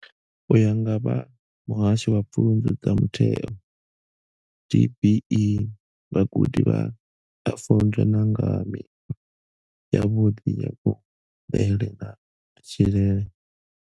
U ya nga vha Muhasho wa Pfunzo dza Mutheo DBE, vhagudi vha a funzwa na nga ha mikhwa yavhuḓi ya kuḽele na matshilele.